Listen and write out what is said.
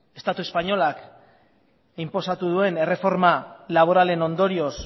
estatu espainolak inposatu duen erreforma laboralen ondorioz